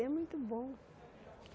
É muito bom.